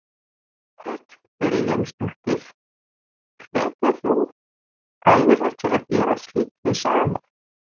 Hödd Vilhjálmsdóttir: Hveturðu aðra til að gera slíkt hið sama?